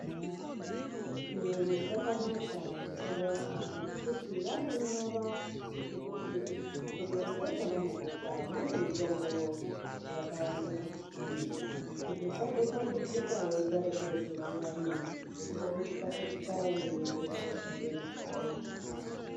Chiyungu chakanaka mitombo yakhona ngekuti vanonyora ngekuti muchibhotoro ichocho chavanokupa mune mutombo wakawanda zvakadhini, kuti usazotambudzika weigara kureti zviyani nekuzopetuka-petuka weienda kotenga mitombo yakhona.